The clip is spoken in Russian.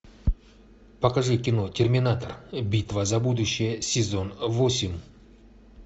покажи кино терминатор битва за будущее сезон восемь